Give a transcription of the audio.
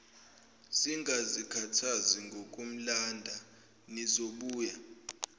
singazikhathazi ngokumlanda nizobuya